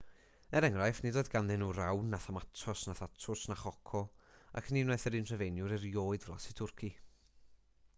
er enghraifft nid oedd ganddyn nhw rawn na thomatos na thatws na choco ac ni wnaeth yr un rhufeiniwr erioed flasu twrci